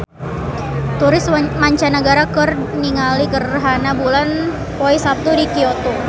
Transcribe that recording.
Turis mancanagara keur ningali gerhana bulan poe Saptu di Kyoto